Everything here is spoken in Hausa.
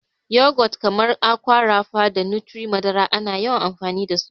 Yogurt kamar Aqua Rapha da Nutri-madara ana yawan amfani dasu.